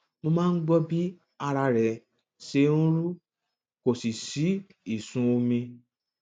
mo máa ń gbọ bí ara rẹ ṣe ń rú kò sì sí ìsun omi